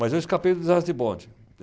Mas eu escapei do desastre de bonde.